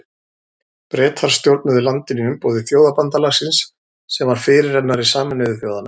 Bretar stjórnuðu landinu í umboði Þjóðabandalagsins sem var fyrirrennari Sameinuðu þjóðanna.